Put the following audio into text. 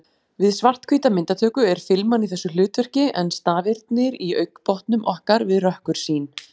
Við svarthvíta myndatöku er filman í þessu hlutverki en stafirnir í augnbotnum okkar við rökkursýn.